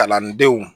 Kalandenw